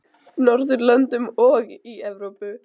Norðurlöndum og í Evrópu.